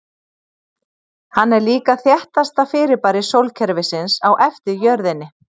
hann er líka þéttasta fyrirbæri sólkerfisins á eftir jörðinni